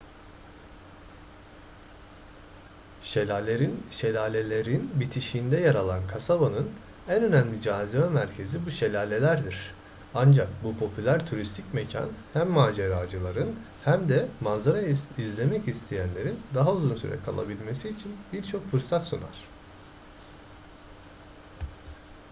şelalelerin bitişiğinde yer alan kasabanın en önemli cazibe merkezi bu şelalelerdir ancak bu popüler turistik mekan hem maceracıların hm de manzara izlemek isteyenlerin daha uzun süre kalabilmesi için birçok fırsat sunar